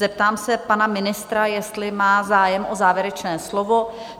Zeptám se pana ministra, jestli má zájem o závěrečné slovo?